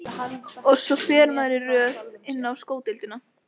Og svo fer maður í röð inn á sko deildina.